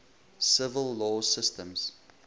civil law systems